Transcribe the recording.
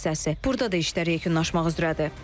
Burda da işlər yekunlaşmaq üzrədir.